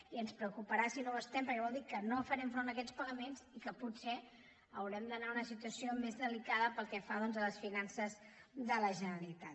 i ens preocuparà si no ho estem perquè voldrà dir que no farem front a aquests pagaments i que pot·ser haurem d’anar a una situació més delicada pel que fa a les finances de la generalitat